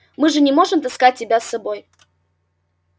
мы же не можем таскать тебя с собой